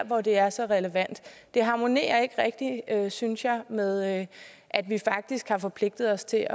hvor det er så relevant det harmonerer ikke rigtig synes jeg med at vi faktisk har forpligtet os til